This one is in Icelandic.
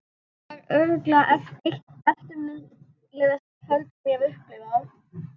Þetta var örugglega eitt eftirminnilegasta kvöld sem ég hef upplifað.